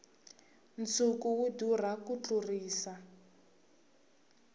nsuku wu durha ku tlurisa